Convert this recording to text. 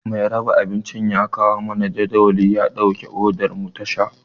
Mai raba abincin ya kawo mana jadawalin ya ɗauki odar mu ta sha.